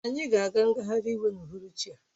Anyị ga-aga ngagharị iwu n'uhuruchi a